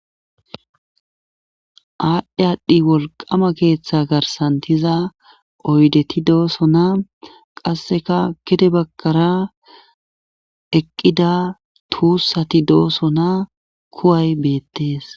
Aadhdhe aadhdhi wolqama keeththa garsantiza oydeti doosona qasseka kete bakkara eqqida tuussati dooso na kuway beettees